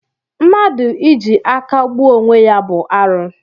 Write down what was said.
Mmadụ iji aka gbuo onwe ya bụ arụ